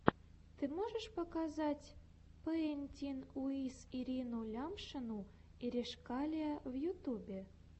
ты можешь показать пэинтин уиз ирину лямшину иришкалиа в ютьюбе